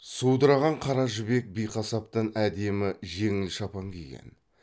судыраған қара жібек биқасаптан әдемі жеңіл шапан киген